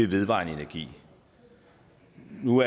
vedvarende energi nu